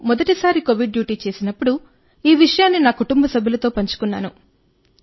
నేను మొదటి సారి కోవిడ్ డ్యూటీ చేసినప్పుడు ఈ విషయాన్ని నా కుటుంబ సభ్యులతో పంచుకున్నాను